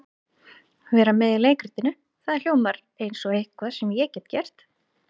Vera með í leikritinu, það hljómar eins og eitthvað sem ég get gert.